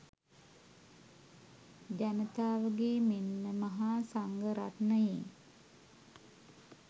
ජනතාවගේ මෙන්ම මහා සංඝරත්නයේ